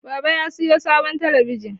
Baba ya sayo sabon talabijin.